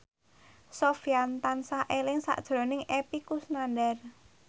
Sofyan tansah eling sakjroning Epy Kusnandar